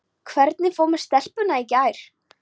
Hvernig fór með stelpuna í gær?